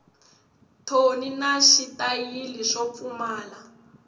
thoni na xitayili swo pfumala